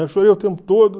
Eu chorei o tempo todo.